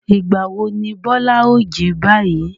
Ìgbà wo ni Bọ́lá ó jí báyìí?